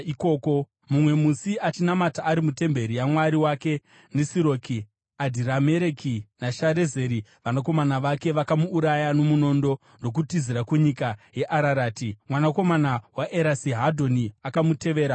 Mumwe musi achinamata ari mutemberi yamwari wake Nisiroki, Adhiramereki naSharezeri, vanakomana vake vakamuuraya nomunondo, ndokutizira kunyika yeArarati. Mwanakomana waEsarihadhoni akamutevera paushe.